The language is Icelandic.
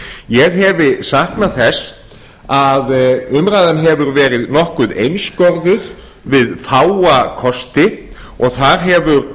ég hef saknað þess að umræðan hefur verið nokkuð einskorðuð við fáa kosti og þar hefur